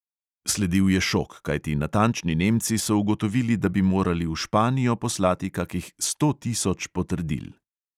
Sledil je šok, kajti natančni nemci so ugotovili, da bi morali v španijo poslati kakih sto tisoč potrdil.